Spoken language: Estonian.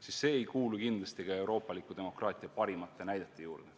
Kahtlemata ei kuulu see euroopaliku demokraatia parimate näidete hulka.